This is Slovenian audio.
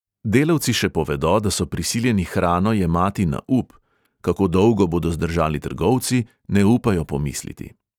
Delavci še povedo, da so prisiljeni hrano jemati na up; kako dolgo bodo zdržali trgovci, ne upajo pomisliti.